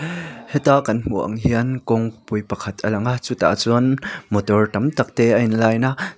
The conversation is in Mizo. heta kan hmuh ang hian kawngpui pakhat a lang a chutah chuan motor tam tak te a in line a.